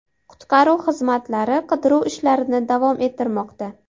Qutqaruv xizmatlari qidiruv ishlarini davom ettirmoqda.